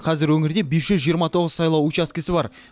қазір өңірде бес жүз жиырма тоғыз сайлау учаскесі бар